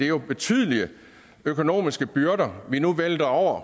jo betydelige økonomiske byrder vi nu vælter over